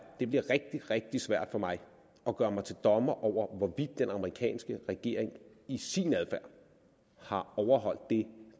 det bliver rigtig rigtig svært for mig at gøre mig til dommer over hvorvidt den amerikanske regering i sin adfærd har overholdt det